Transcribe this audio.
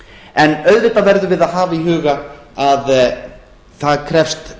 en auðvitað verðum við að hafa í huga að það krefst